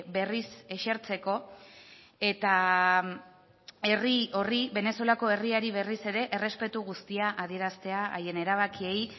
berriz esertzeko eta herri horri venezuelako herriari berriz ere errespetu guztia adieraztea haien erabakiei